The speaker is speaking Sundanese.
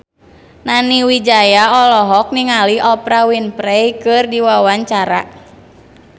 Nani Wijaya olohok ningali Oprah Winfrey keur diwawancara